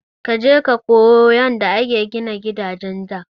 Kaje ka koyo yanda aka gina gidajen da!